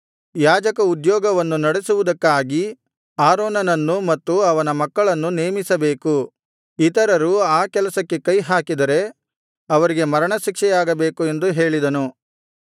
ಯಾಜಕ ಉದ್ಯೋಗವನ್ನು ನಡೆಸುವುದಕ್ಕಾಗಿ ಆರೋನನನ್ನು ಮತ್ತು ಅವನ ಮಕ್ಕಳನ್ನು ನೇಮಿಸಬೇಕು ಇತರರು ಆ ಕೆಲಸಕ್ಕೆ ಕೈಹಾಕಿದರೆ ಅವರಿಗೆ ಮರಣಶಿಕ್ಷೆಯಾಗಬೇಕು ಎಂದು ಹೇಳಿದನು